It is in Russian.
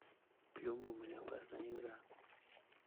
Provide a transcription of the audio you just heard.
плюмбум или опасная игра